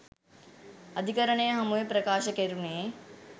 අධිකරණය හමුවේ ප්‍රකාශ කෙරුණේ